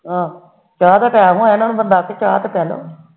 ਆਹੋ ਚਾਹ ਦਾ ਟੈਮ ਹੋਇਆ ਬੰਦਾ ਚਾਹ ਤਾ ਪਿਲਾਦੋ